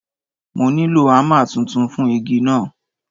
Mo nílò ámà tuntun fún igi náà.